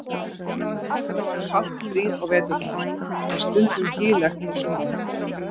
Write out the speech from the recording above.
Það var kalt stríð á veturna, en stundum hlýlegt á sumrin.